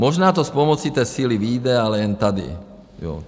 Možná to s pomocí té síly vyjde, ale jen tady.